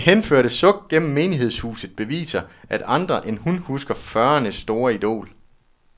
Det henførte suk gennem menighedshuset beviser, at andre end hun husker fyrreernes store idol.